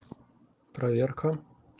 проверка